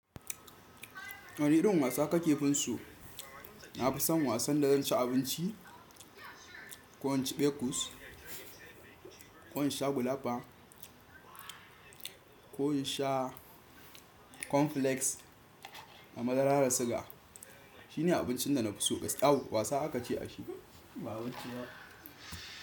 Wani irin wasa kake finso nafi son wasan da zan ci abinci, ko in ci bekus, ko in sha gulapa, ko in sha cornflakes a madarara da suga. Shine abincin da na fi so. Aww wasa aka ce a shi ba abinci ba.